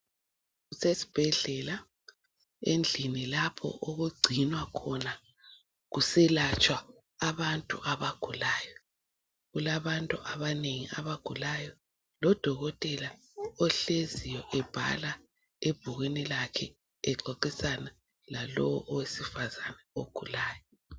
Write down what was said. Kusesibhedlela endlini lapho okugcinwa khona kuselatshwa abantu abagulayo. Kulabantu abanengi abagulayo ,lodokothela ohleziyo ebhala ebhukwini lakhe .Exoxisana lalowo owesifazana ogulayo.